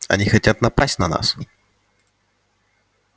они хотят напасть на нас